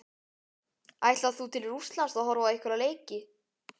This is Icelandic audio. Ætlar þú til Rússlands að horfa á einhverja leiki?